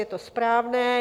Je to správné.